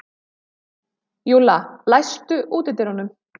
Júlla, læstu útidyrunum.